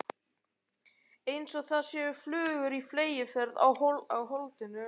Einsog það séu flugur á fleygiferð í holdinu.